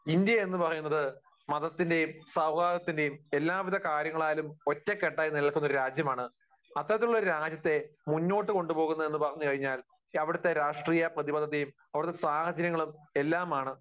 India എന്ന് പറയുന്നത് മതത്തിന്റെയും സൗഹാർദ്ദത്തിന്റെയും എല്ലാവിധ കാര്യങ്ങളാലും ഒറ്റ കെട്ടായി നിൽക്കുന്ന ഒരു രാജ്യമാണ് അത്തരത്തിലുള്ള ഒരു രാജ്യത്തെ മുന്നോട്ടുകൊണ്ടുപോകുന്നതെന്നു പറഞ്ഞുകഴിഞ്ഞാൽ അവിടുത്തെ രാഷ്ട്രീയ പ്രതിബദ്ധതയും അവിടുത്തെ സാഹചര്യങ്ങളും എല്ലാമാണ്